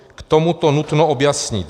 K tomuto nutno objasnit: